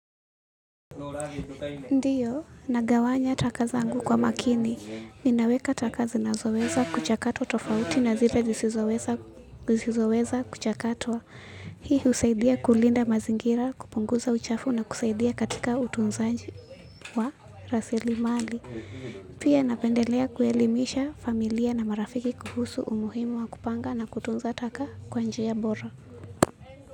Ndiyo, nagawanya taka zangu kwa makini. Ninaweka taka zinazo weza kuchakatwa tofauti na zile zisizoweza kuchakatwa. Hii husaidia kulinda mazingira, kupunguza uchafu na kusaidia katika utunzaji wa rasili mali. Pia napendelea kuelimisha familia na marafiki kuhusu umuhimu wa kupanga na kutunza taka kwa njia bora.